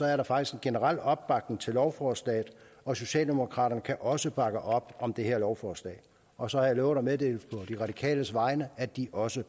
er der faktisk en generel opbakning til lovforslaget og socialdemokraterne kan også bakke op om det her lovforslag og så har jeg lovet at meddele på de radikales vegne at de også